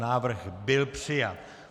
Návrh byl přijat.